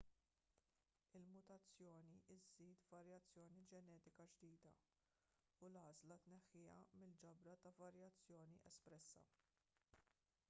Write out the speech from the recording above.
il-mutazzjoni żżid varjazzjoni ġenetika ġdida u l-għażla tneħħiha mill-ġabra ta' varjazzjoni espressa